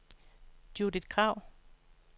Judith Krag